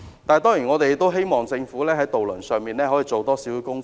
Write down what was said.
當然，我們也希望政府在這方面可以多做工夫。